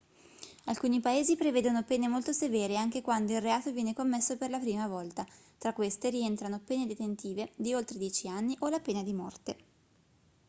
alcuni paesi prevedono pene molto severe anche quando il reato viene commesso per la prima volta tra queste rientrano pene detentive di oltre 10 anni o la pena di morte